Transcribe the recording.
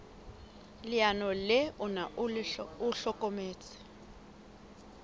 leano le ona o hlokometse